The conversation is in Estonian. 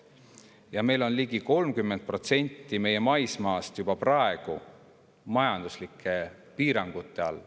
Ja ligi 30% meie maismaast on juba praegu majanduslike piirangute all.